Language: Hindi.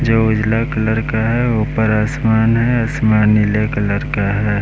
जो उजला कलर का है ऊपर आसमान है आसमान नीला कलर का है।